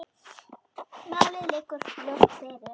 Málið liggur ljóst fyrir.